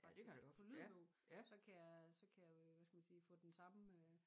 Faktisk på lydbog så kan jeg så kan jeg hvad skal vi sige få den samme øh